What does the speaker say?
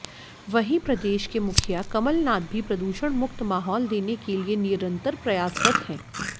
वहीं प्रदेश के मुखिया कमलनाथ भी प्रदूषण मुक्त माहौल देने के लिए निरंतर प्रयासरत हैं